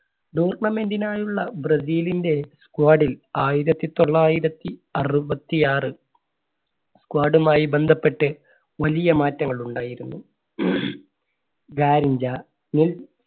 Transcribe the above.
tournament നായുള്ള ബ്രസീലിന്റെ squad ൽ ആയിരത്തി തൊള്ളായിരത്തി അറുപത്തി ആറ് squad മായി ബന്ധപ്പെട്ട് വലിയ മാറ്റങ്ങൾ ഉണ്ടായിരുന്നു.